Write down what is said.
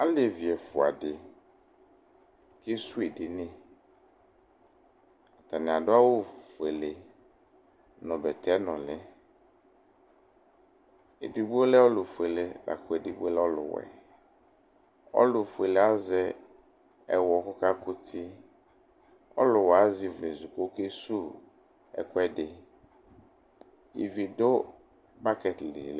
Olevi ɛfʋa dɩ kesuwu edini Atanɩ adʋ awʋfuele nʋ bɛtɛnʋlɩ Edigbo lɛ ɔlʋfuele la kʋ edigbo lɛ ɔlʋwɛ Ɔlʋfuele yɛ azɛ ɛwɔ kʋ ɔkakʋ uti, ɔlʋwɛ yɛ azɛ ivlezu kʋ ɔkesuwu ɛkʋɛdɩ Ivi dʋ bakɛt li